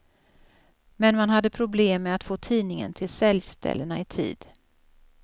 Men man hade problem med att få tidningen till säljställena i tid.